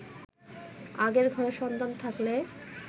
আগের ঘরের সন্তান থাকলে